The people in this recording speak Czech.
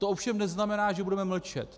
To ovšem neznamená, že budeme mlčet.